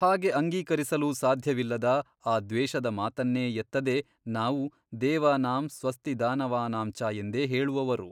ಹಾಗೆ ಅಂಗೀಕರಿಸಲೂ ಸಾಧ್ಯವಿಲ್ಲದ ಆ ದ್ವೇಷದ ಮಾತನ್ನೇ ಎತ್ತದೆ ನಾವು ದೇವಾನಾಂ ಸ್ವಸ್ತಿ ದಾನವಾನಾಂಚ ಎಂದೇ ಹೇಳುವವರು.